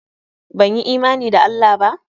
Banyi imani da Allah ba?